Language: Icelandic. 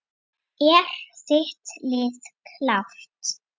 Er þitt lið klárt?